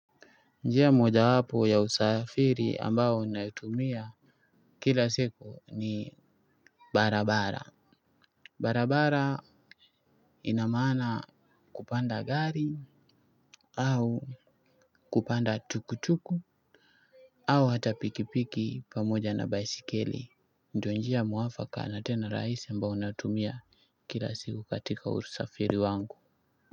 Njia moja wapo ya usafiri ambao naitumia kila siku ni barabara. Barabara ina maana kupanda gari au kupanda tuktuk au hata pikipiki pamoja na baisikeli. Ndo njia mwafaka na tena rahisi ambayo natumia kila siku katika usafiri wangu.